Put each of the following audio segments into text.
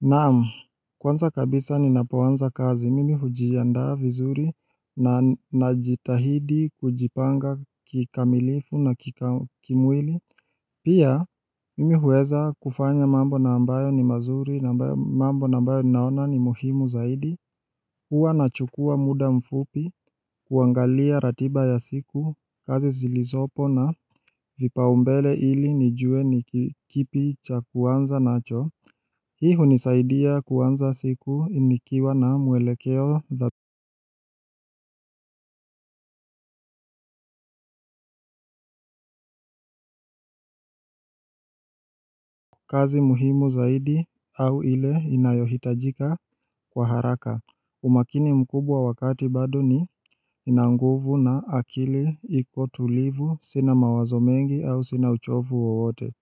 Naam kwanza kabisa ninapoanza kazi mimi hujiaanda vizuri na najitahidi kujipanga kikamilifu na kimwili Pia mimi huweza kufanya mambo na ambayo ni mazuri na mambo na ambayo naona ni muhimu zaidi huwa nachukua muda mfupi kuangalia ratiba ya siku kazi zilizopo na vipaumbele ili nijue ni kipi cha kuanza nacho Hii hunisaidia kuanza siku nikiwa na mwelekeo dha kazi muhimu zaidi au ile inayohitajika kwa haraka umakini mkubwa wakati bado ninanguvu na akili iko tulivu sina mawazo mengi au sina uchovu wowote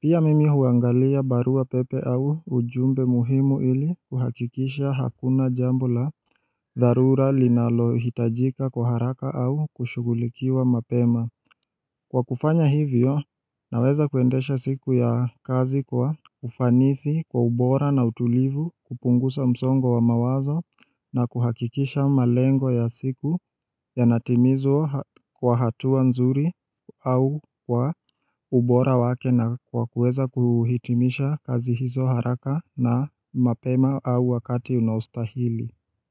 Pia mimi huangalia barua pepe au ujumbe muhimu ili kuhakikisha hakuna jambo la dharura linalohitajika kwa haraka au kushugulikiwa mapema Kwa kufanya hivyo naweza kuendesha siku ya kazi kwa ufanisi kwa ubora na utulivu kupunguza msongo wa mawazo na kuhakikisha malengo ya siku yanatimizwa kwa hatuwa nzuri au kwa ubora wake na kwa kuweza kuhitimisha kazi hizo haraka na mapema au wakati unaostahili.